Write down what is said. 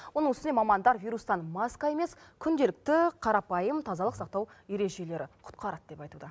оның үстіне мамандар вирустан маска емес күнделікті қарапайым тазалық сақтау ережелері құтқарады деп айтуда